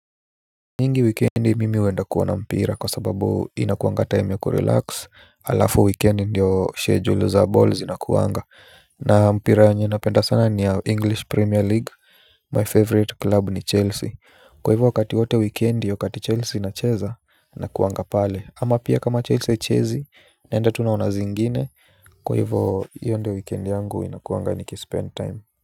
Nyingi wikendi mimi huenda kuona mpira kwa sababu inakuanga time ya kurelax alafu wikendi ndio schedule za ball zinakuanga na mpira yenye napenda sana ni ya english premier league My favorite club ni chelsea kwa hivyo wakati wowote wikendi wakati chelsea inacheza nakuanga pale ama pia kama chelsea haichezi naenda tu naona zingine kwa hivyo hiyo ndiyo wikendi yangu inakuanga niki-spend time.